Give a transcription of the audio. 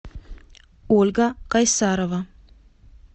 ольга кайсарова